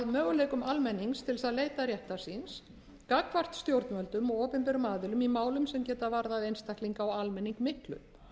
möguleikum almennings til þess að leita réttar síns gagnvart stjórnvöldum og opinberum aðilum í málum sem geta varðað einstaklinga og almenning miklu